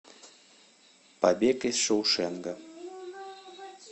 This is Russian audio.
побег из шоушенка